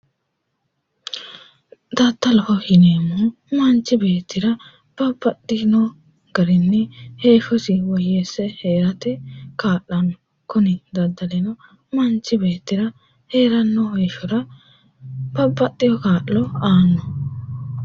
Daddaloho yineemmohu manchi beettira babbaxxino garinni heeshshosi woyyeesse hee'rate kaa'lanno, kuni daddalino manchi beettira hee'ranno heeshshora babbaxxewo kaa'lo aanno